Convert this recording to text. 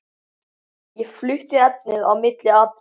Ég flutti efnið á milli atriða.